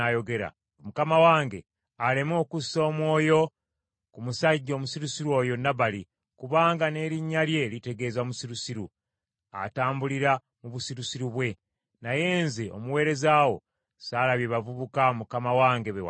Mukama wange aleme okussa omwoyo ku musajja omusirusiru oyo Nabali, kubanga n’erinnya lye litegeeza musirusiru, atambulira mu busirusiru bwe. Naye nze omuweereza wo, ssaalabye bavubuka mukama wange be watumye.